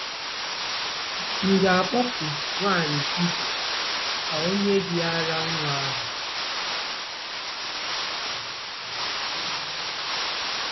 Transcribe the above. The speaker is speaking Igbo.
‘M̀ ga-akpọku nwaanyị Hibru ka ọ nye gị ara nwa ahụ? '